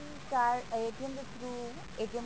card ਦੇ through